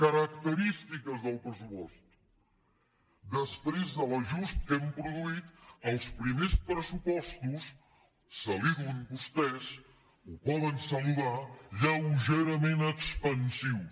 característiques del pressupost després de l’ajust que hem produït els primers pressupostos saludin·ho vos·tès ho poden saludar lleugerament expansius